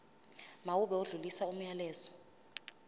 mawube odlulisa umyalezo